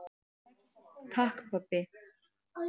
Takk pabbi.